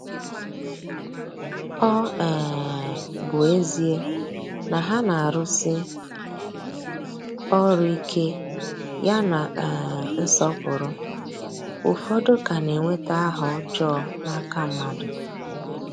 Ọ um bụ ezie na ha na-arụsi ọrụ ike ya na um nsọpụrụ, ụfọdụ ka na-enweta aha ọjọọ n’aka mmadụ.